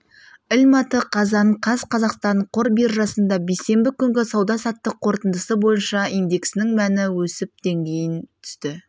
ілматы қазан қаз қазақстан қор биржасында бейсенбі күнгі сауда-саттық қорытындысы бойынша индексінің мәні өсіп дейін түсті